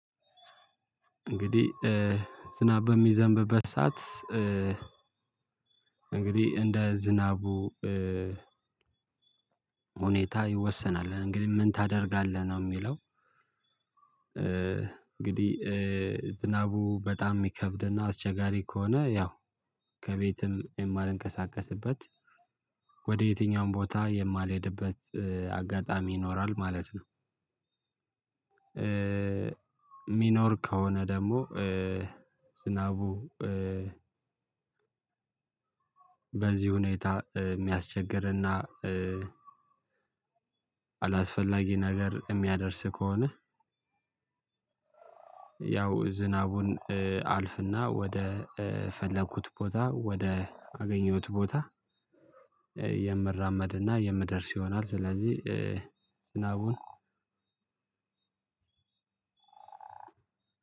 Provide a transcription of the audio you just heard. እንግዲህ ዝናብ በሚዘንብበት ሰዓት እንግዲህ እንደ ዝናቡ ሁኔታ ይወሰናል። እንግዲ ምን ታደርጋለህ ነው ሚለው እንግዲ ዝናቡ በጣም የሚከብድና አስቸጋሪ ከሆነ ያው ከቤትም የማልንቀሳቀስበት ወደ የትኛውም ቦታ የማልሄድበት አጋጣሚ ይኖራል ማለት ነው። ሚኖር ከሆነ ደግሞ ዝናቡ በዚ ሁኔታ ሚያስቸግርና አላስፈላጊ ነገር ሚያደርስ ከሆነ ያው ዝናቡን አልፍና ወደ ፈለኩት ቦታ ወደ አገኘሁት ቦታ የምራመድና የምደርስ ይሆናል። ስለዚ ዝናቡን